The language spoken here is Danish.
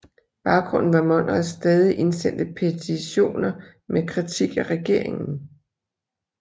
Baggrunden var Monrads stadig indsendte petitioner med kritik af regeringen